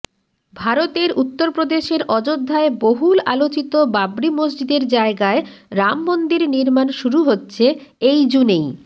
ভারতের উত্তরপ্রদেশের অযোধ্যায় বহুল আলোচিত বাবরি মসজিদের জায়গায় রাম মন্দির নির্মাণ শুরু হচ্ছে এই জুনেই